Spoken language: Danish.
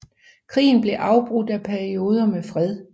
Krigen blev afbrudt af perioder med fred